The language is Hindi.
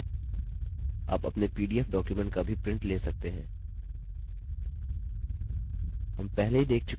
आप अपने pdf डॉक्युमेंट का भी प्रिंट ले सकते हैं